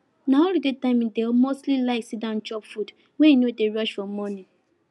na holiday time e dey mostly like sit down chop food when e no dey rush for morning